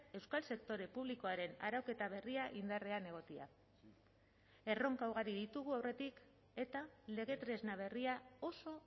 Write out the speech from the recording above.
euskal sektore publikoaren arauketa berria indarrean egotea erronka ugari ditugu aurretik eta lege tresna berria oso